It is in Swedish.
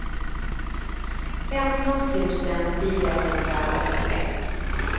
femton tusen fyrahundraåttioett